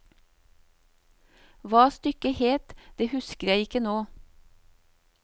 Hva stykket het, det husker jeg ikke nå.